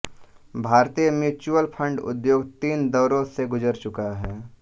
भारतीय mutual fund उद्योग तीन दौरो से गुज़र चुका है